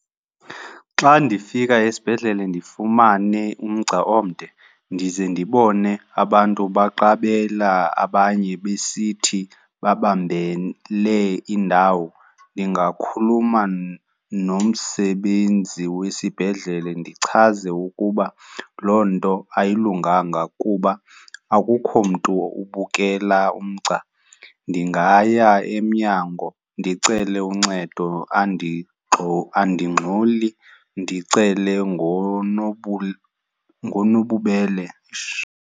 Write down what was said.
Xa ndifika esibhedlele ndifumane umgca omde ndize ndibone abantu baqabela abanye besithi babambele iindawo ndingakhuluma nomsebenzi wesibhedlele ndichaze ukuba loo nto ayilunganga kuba akukho mntu ubukela umgca. Ndingaya emnyango ndicele uncedo, andingxoli ndicele ngonobubele. Eish!